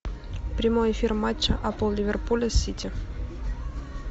прямой эфир матча апл ливерпуля с сити